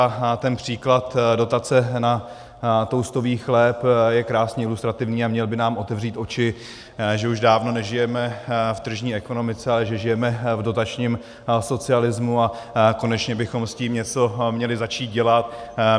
A ten příklad dotace na toastových chléb je krásně ilustrativní a měl by nám otevřít oči, že už dávno nežijeme v tržní ekonomice, ale že žijeme v dotačním socialismu, a konečně bychom s tím něco měli začít dělat.